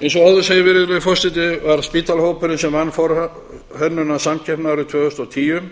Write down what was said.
eins og áður segir virðulegi forseti vann spital hópurinn forhönnunarsamkeppnina árið tvö þúsund og tíu og vann hann að skipulagsbreytingum